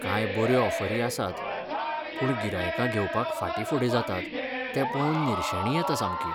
काय बऱ्यो ऑफरी आसात, पूण गिरायकां घेवपाक फाटीफुडें जातात तें पळोवन निर्शेणी येता सामकी.